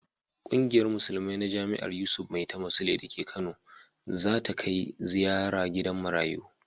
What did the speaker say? Kungiyar musulmai ta jami'ar Yusuf Maitama Sule da ke Kana za ta kai ziyara gidan marayu.